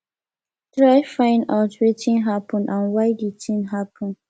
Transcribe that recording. try find out wetin happen and why di thing happen